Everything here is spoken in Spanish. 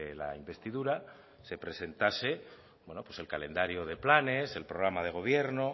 la investidura se presentase el calendario de planes el programa de gobierno